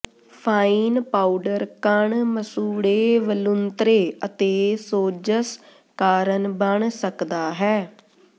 fine powder ਕਣ ਮਸੂੜੇ ਵਲੂੰਧਰੇ ਅਤੇ ਸੋਜ਼ਸ਼ ਕਾਰਨ ਬਣ ਸਕਦਾ ਹੈ